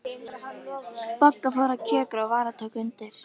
Bogga fór að kjökra og Vala tók undir.